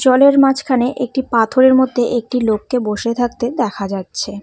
জলের মাঝখানে একটি পাথরের মধ্যে একটি লোককে বসে থাকতে দেখা যাচ্ছে।